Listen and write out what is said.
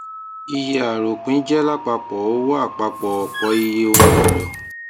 iye aropin jẹ lapapọ owó apapọ opoiye oun elo